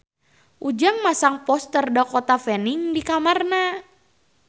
Ujang masang poster Dakota Fanning di kamarna